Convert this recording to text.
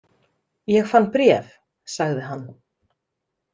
Ég fann bréf, sagði hann.